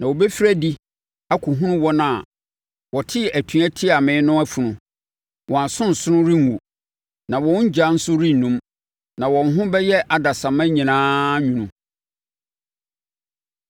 “Na wɔbɛfiri adi akɔhunu wɔn a wɔtee atua tiaa me no afunu; wɔn asonsono renwu, na wɔn ogya nso rennum, na wɔn ho bɛyɛ adasamma nyinaa nwunu.”